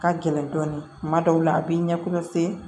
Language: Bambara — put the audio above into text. Ka gɛlɛn dɔɔnin kuma dɔw la a b'i ɲɛ